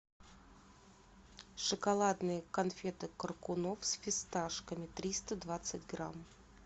шоколадные конфеты коркунов с фисташками триста двадцать грамм